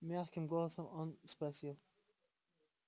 мягким голосом он спросил